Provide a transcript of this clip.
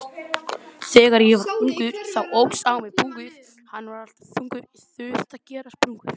Það var á Þorláksmessunni.